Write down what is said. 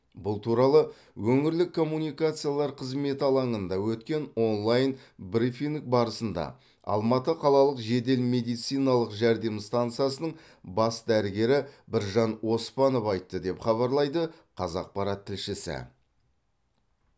бұл туралы өңірлік коммуникациялар қызметі алаңында өткен онлайн брифинг барысында алматы қалалық жедел медициналық жәрдем стансасының бас дәрігері біржан оспанов айтты деп хабарлайды қазақпарат тілшісі